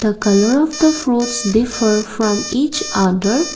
the colour of the fruits differ from each other.